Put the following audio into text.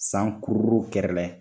San kuruu kɛrɛ